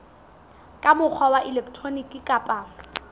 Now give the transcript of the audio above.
ka mokgwa wa elektroniki kapa